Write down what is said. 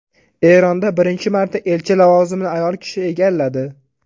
Eronda birinchi marta elchi lavozimini ayol kishi egalladi.